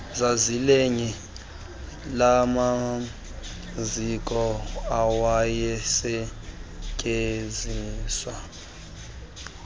zazilelinye lamaziko awayesetyenziswa